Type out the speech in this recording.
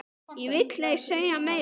Ég vil ei segja meira.